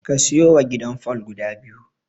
Ka siyowa gidan fol guda biyu.